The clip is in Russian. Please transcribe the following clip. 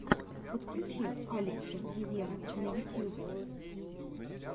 подключи алекса гивера на ютьюбе